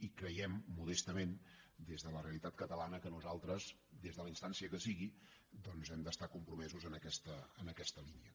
i creiem modestament des de la realitat catalana que nosaltres des de la instància que sigui doncs hem d’estar compromesos en aquesta línia